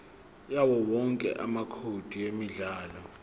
yawowonke amacode emidlalo